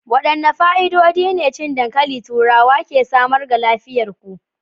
Wadanne fa'idodi ne cin dankalin turawa ke samarwa ga lafiyar ku?